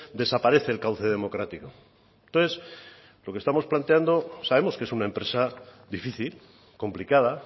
desaparece el cauce democrático entonces lo que estamos planteando sabemos que es una empresa difícil complicada